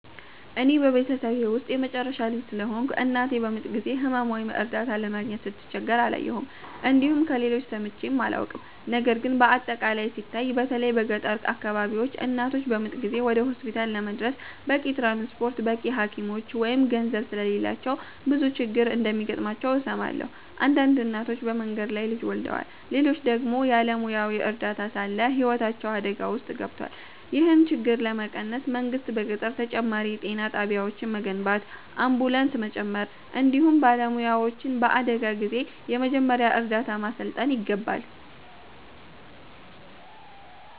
እኔ በቤተሰቤ ውስጥ የመጨረሻ ልጅ ስለሆንኩ፣ እናቴ በምጥ ጊዜ ሕመም ወይም እርዳታ ለማግኘት ስትቸገር አላየሁም፣ እንዲሁም ከሌሎች ሰምቼም አላውቅም። ነገር ግን በአጠቃላይ ሲታይ፣ በተለይ በገጠር አካባቢዎች እናቶች በምጥ ጊዜ ወደ ሆስፒታል ለመድረስ በቂ ትራንስፖርት፣ በቂ ሐኪሞች ወይም ገንዘብ ስለሌላቸው ብዙ ችግር እንደሚገጥማቸው እሰማለሁ። አንዳንድ እናቶች በመንገድ ላይ ልጅ ወልደዋል፣ ሌሎች ደግሞ ያለ ሙያዊ እርዳታ ሳለ ሕይወታቸው አደጋ ውስጥ ገብቷል። ይህን ችግር ለመቀነስ መንግሥት በገጠር ተጨማሪ የጤና ጣቢያዎችን መገንባት፣ አምቡላንስ መጨመር፣ እንዲሁም ባላባቶችን በአደጋ ጊዜ የመጀመሪያ እርዳታ ማሠልጠን ይገባል።